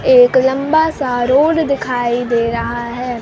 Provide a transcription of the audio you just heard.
एक लम्बा सा रोड दिखाई दे रहा है।